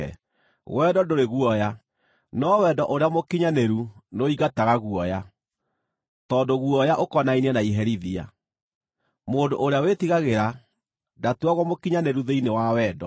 Wendo ndũrĩ guoya. No wendo ũrĩa mũkinyanĩru nĩũingataga guoya, tondũ guoya ũkonainie na iherithia. Mũndũ ũrĩa wĩtigagĩra, ndatuagwo mũkinyanĩru thĩinĩ wa wendo.